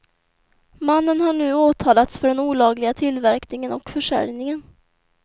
Mannen har nu åtalats för den olagliga tillverkningen och försäljningen.